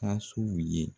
Fasow ye